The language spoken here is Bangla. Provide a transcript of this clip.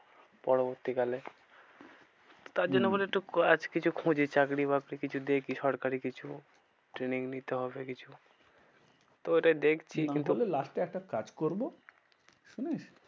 পরবর্তী কালে তার জন্য বলি হম একটু কাজ কিছু খুঁজি চাকরি বাকরি কিছু দেখি সরকারি কিছু। training নিতে হবে কিছু। তো ওটাই দেখছি না হলে last এ একটা কাজ করবো শুনিস